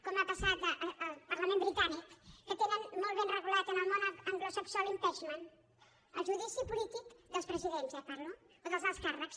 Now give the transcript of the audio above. com ha passat al parlament britànic que tenen molt ben regulat en el món anglosaxó l’impeach ment el judici polític dels presidents eh parlo o dels alts càrrecs